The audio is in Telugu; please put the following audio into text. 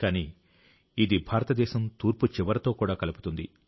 కానీ ఇది భారతదేశం తూర్పు చివరతో కూడా కలుపుతుంది